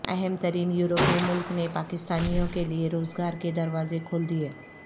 اہم ترین یورپی ملک نے پاکستانیوں کیلئے روزگار کے دروازے کھول دیئے